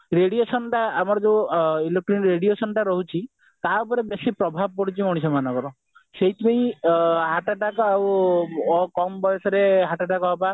ତାର radiation ଟା ଆମର ଯୋଉ electronic radiation ଟା ରହୁଛି ଟା ଉପରେ ବେଶି ପ୍ରଭାବ ପଡୁଛି ମଣିଷମାନଙ୍କର ସେଇଥି ପାଇଁ heart attack ଆଉ କମ ବୟସରେ heart attack ହେବା